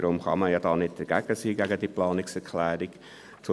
Daher kann man nicht gegen diese Planungserklärung sein.